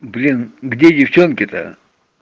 блин где девчонки то